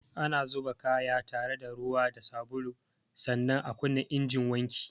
Ana zuba kaya haɗe da ruwa da sabulu, sannan a kunna injin wanki